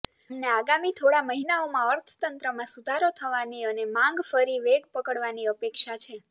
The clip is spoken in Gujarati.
અમને આગામી થોડા મહિનાઓમાં અર્થતંત્રમાં સુધારો થવાની અને માંગ ફરી વેગ પકડવાની અપેક્ષા છે